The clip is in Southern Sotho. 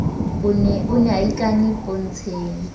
o ne a ikane pontsheng